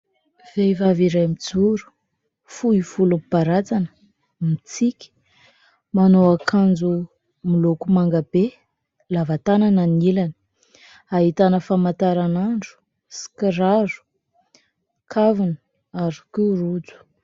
Vehivavy iray mijoro, fohy volo mibaratsana, mitsiky, manao akanjo miloko manga be, lava tanana ny ilany. Ahitana famataranandro sy kiraro, kaviny ary koa rojo.